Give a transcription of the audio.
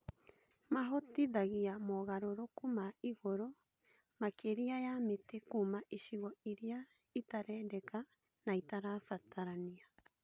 Mahotithagia moogarũrũku ma igũrũ makĩria ya mĩtĩ Kuma icigo iria ĩtarendeka na itarabatarania